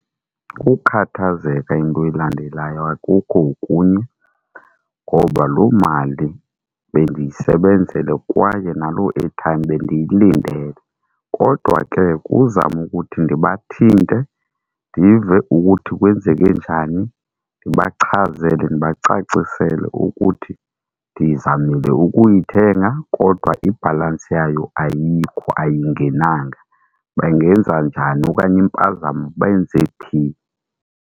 Kukhathazeka into elandelayo akukho okunye ngoba loo mali bendiyisebenzele kwaye naloo airtime bendiyilindele. Kodwa ke kuzama ukuthi ndibathinte ndive ukuthi kwenzeke njani ndibachazele ndibacacisele ukuthi ndizamile ukuyithenga kodwa ibhalansi yayo ayikho, ayingenanga. Bangenza njani okanye impazamo, bayenze phi.